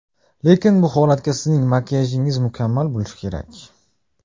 Lekin bu holatda sizning makiyajingiz mukammal bo‘lishi kerak!